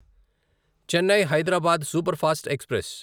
Chennai Hyderabad superfast express